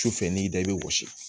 Su fɛ n'i y'i da i bɛ wɔsi